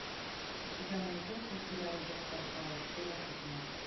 у тебя найдется сериал доктор хаус серия пятнадцать